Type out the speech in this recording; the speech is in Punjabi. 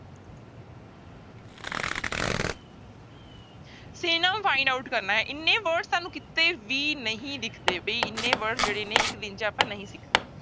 Synonym find out ਕਰਨਾ ਹੈ ਇੰਨੇ words ਤੁਹਾਨੂੰ ਕਿਤੇ ਵੀ ਨਹੀਂ ਦਿਖਦੇ ਬਈ ਇੰਨੇ words ਜਿਹੜੇ ਨੇ ਇੱਕ ਦਿਨ ਚ ਆਪਾਂ ਨਹੀਂ ਸਿੱਖਦੇ।